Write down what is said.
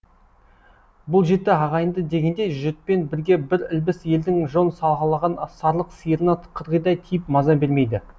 бұл жеті ағайынды дегендей жұтпен бірге бір ілбіс елдің жон сағалаған сарлық сиырына қырғидай тиіп маза бермейді